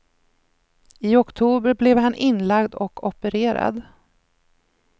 I oktober blev han inlagd och opererad.